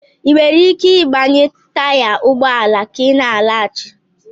Ị nwere ike ịgbanye taya ụgbọ ala ka ị na-alaghachi?